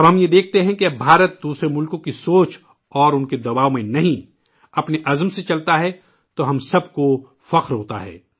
جب ہم یہ دیکھتے ہیں کہ اب ہندوستان دوسرے ملکوں کی سوچ اور انکے دباؤ میں نہیں، اپنے عزم سے چلتا ہے، تو ہم سب کو فخر ہوتا ہے